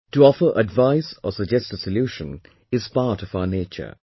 To offer advice or suggest a solution, are part of our nature